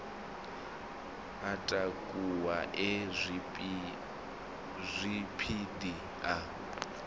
a takuwa e zwipidi a